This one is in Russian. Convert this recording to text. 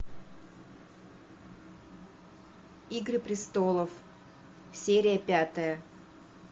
игры престолов серия пятая